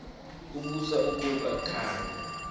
ubuso buya khanya